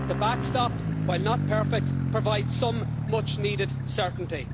The back stop, while not perfect, provides some much needed certainty.